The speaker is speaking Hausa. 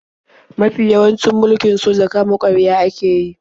Mafi yawancin mulkin soja kama-karya ake yi.